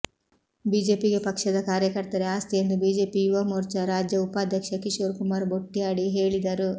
ಬಿಜೆಪಿಗೆ ಪಕ್ಷದ ಕಾರ್ಯಕರ್ತರೇ ಆಸ್ತಿ ಎಂದು ಬಿಜೆಪಿ ಯುವಮೋರ್ಚಾ ರಾಜ್ಯ ಉಪಾಧ್ಯಕ್ಷ ಕಿಶೋರ್ ಕುಮಾರ್ ಬೊಟ್ಯಾಡಿ ಹೇಳಿದರು